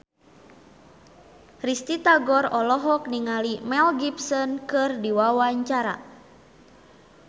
Risty Tagor olohok ningali Mel Gibson keur diwawancara